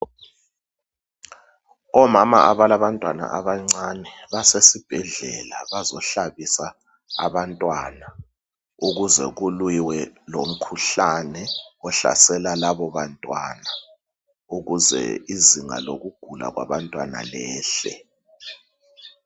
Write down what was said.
Omama abalantwana abancane basesibhedlela. Bazohlabisa abantwana ukuze kulwiwe lomkhuhlane ohlasela labo bantwana ukuze izinga lokugula kwabantwana liyehle.